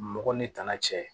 Mɔgɔ ni tana cɛ